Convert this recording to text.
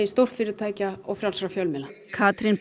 stórfyrirtækja og frjálsra fjölmiðla Katrín